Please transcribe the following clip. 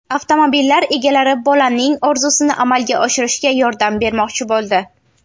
Avtomobillar egalari bolaning orzusini amalga oshirishga yordam bermoqchi bo‘ldi.